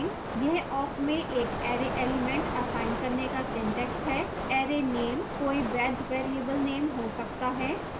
यह awk में एक array element असाइन करने का syntax है